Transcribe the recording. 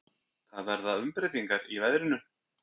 Það verða umbreytingar í veðrinu.